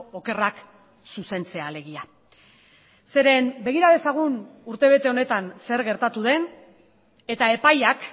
okerrak zuzentzea alegia zeren begira dezagun urtebete honetan zer gertatu den eta epaiak